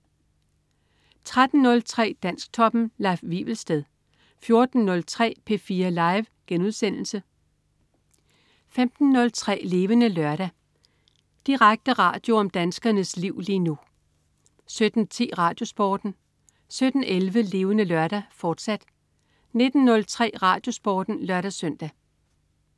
13.03 Dansktoppen. Leif Wivelsted 14.03 P4 Live* 15.03 Levende Lørdag. Direkte radio om danskernes liv lige nu 17.10 RadioSporten 17.11 Levende Lørdag, fortsat 19.03 RadioSporten (lør-søn)